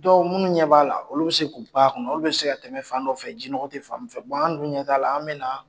minnu ɲɛ b'a la, olu bɛ se k'u pan a kunna, olu bɛ se ka tɛmɛ fan dɔ fɛ, jinɔgɔ tɛ fan min fɛ, an dun ɲɛ t'a la, an bɛ na